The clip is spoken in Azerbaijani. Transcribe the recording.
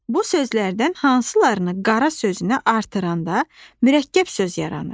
Bu sözlərdən hansılarını qara sözünə artıranda mürəkkəb söz yaranır?